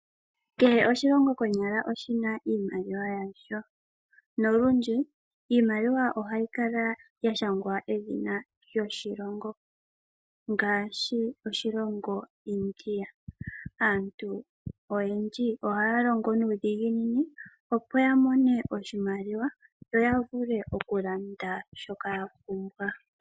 Kehe oshilongo konyala oshina iimaliwa yasho nolundji iimaliwa ohayi kala ya shangwa edhina lyoshilongo ngaashi oshilongo India aantu oyendji ohaya longo nuudhiginini opo ya mone oshimaliwa yo ya vule okulanda shoka ya pumbwa.